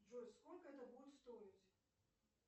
джой сколько это будет стоить